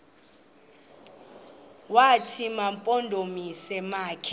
wathi mampondomise makhe